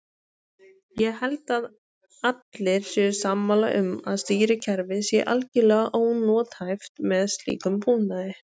Ég held að allir séu sammála um að stýrikerfið sé algjörlega ónothæft með slíkum búnaði.